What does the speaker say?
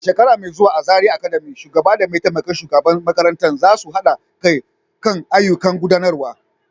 A shekara mai zuwa a Zariya Academy, shugaba da mataimakin shugaban makarantar za su haɗa kai kan ayyukan gudanarwa.